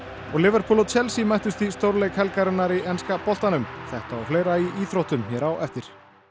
og Liverpool og Chelsea mættust í stórleik helgarinnar í enska boltanum þetta og fleira í íþróttum hér á eftir